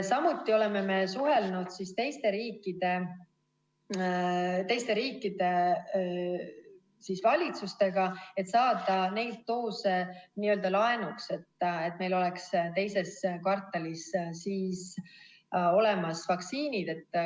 Samuti oleme suhelnud teiste riikide valitsustega, et saada neid doose n-ö laenuks, et meil oleks teises kvartalis vaktsiinid olemas.